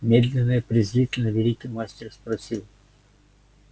медленно и презрительно великий мастер спросил